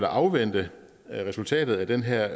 afvente resultatet af den her